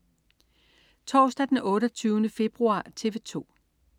Torsdag den 28. februar - TV 2: